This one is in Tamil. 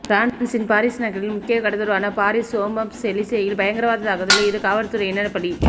பிரான்சின் பாரிஸ் நகரில் முக்கிய கடைத்தெருவான பாரிஸ் சோமப்ஸ் எலிசேயில் பயங்கரவாத தாக்குதல் இரு காவற்துறையினர் பலி